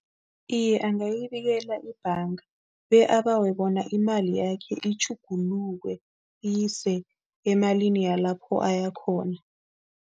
Iye, angayibikela ibhanga be abawe bona imali yakhe itjhuguluke, iyiswe emalini yalapho ayakhona.